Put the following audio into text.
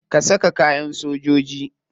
Ka saka kayan sojoji.